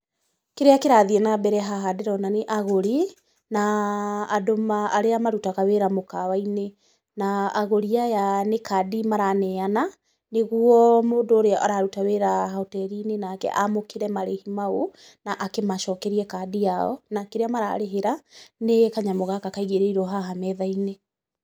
Kĩrĩa kĩrathiĩ na mbere haha ndĩrona nĩ agũri, na andũ arĩa marutaga wĩra mũkawa-inĩ. Na agũri aya nĩ kandi maraneana, nĩguo mũndũ ũrĩa araruta wĩra hoteri-inĩ nake amũkĩre marĩhi mau na akĩmacokerie kandi yao, na kĩrĩa mararĩhĩra nĩ kanyamũ gaka kaigĩrĩirwo haha metha-inĩ.